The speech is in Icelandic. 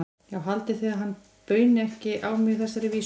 Já, haldið þið að hann bauni ekki á mig þessari vísu?